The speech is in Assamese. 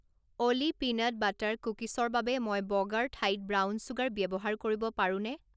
অ'লি পিনাট বাটাৰ কুকিছৰ বাবে মই বগাৰ ঠাইত ব্ৰাউন চুগাৰ ব্যৱহাৰ কৰিব পাৰোনে